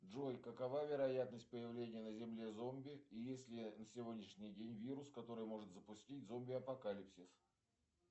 джой какова вероятность появления на земле зомби и есть ли на сегодняшний день вирус который может запустить зомби апокалипсис